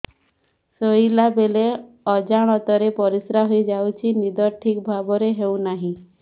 ଶୋଇଲା ବେଳେ ଅଜାଣତରେ ପରିସ୍ରା ହୋଇଯାଉଛି ନିଦ ଠିକ ଭାବରେ ହେଉ ନାହିଁ